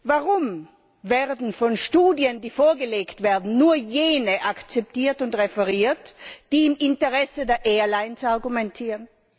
Warum werden von Studien, die vorgelegt werden, nur jene akzeptiert und referiert, die im Interesse der Airlines argumentieren?